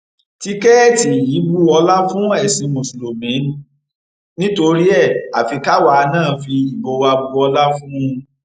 tìkẹẹtì yìí bu ọlá fún ẹsìn mùsùlùmí ni torí ẹ afi káwa náà fi ìbò wa bu ọlá fún un